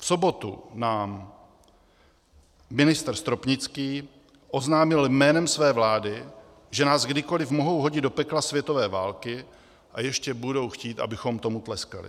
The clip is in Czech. V sobotu nám ministr Stropnický oznámil jménem své vlády, že nás kdykoli mohou hodit do pekla světové války a ještě budou chtít, abychom tomu tleskali.